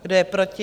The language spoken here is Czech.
Kdo je proti?